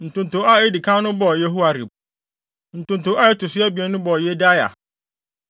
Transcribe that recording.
Ntonto a edi kan no bɔɔ Yehoiarib. Ntonto a ɛto so abien no bɔɔ Yedaia.